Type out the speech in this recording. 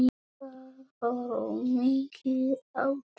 Það voru mikil átök.